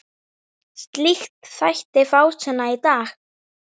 Slíkt þætti fásinna í dag.